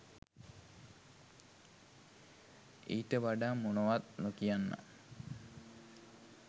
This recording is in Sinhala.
ඊට වඩා මොනවත් නොකියන්නම්